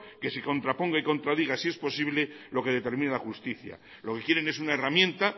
que se contraponga y contradiga si es posible lo que determine la justicia lo que quieren es una herramienta